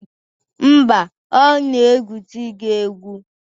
Mba, ọ na-egwusi gị egwu